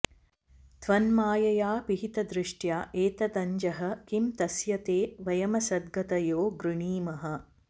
त्वन्मायया पिहितदृष्टय एतदञ्जः किं तस्य ते वयमसद्गतयो गृणीमः